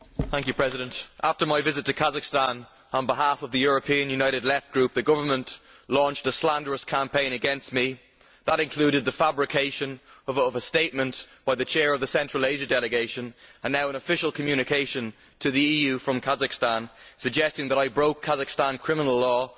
Madam President, after my visit to Kazakhstan on behalf of the European United Left Group, the government launched a slanderous campaign against me. That included the fabrication of a statement by the Chair of the Central Asia Delegation, and now an official communication to the EU from Kazakhstan suggesting that I broke Kazakhstan criminal law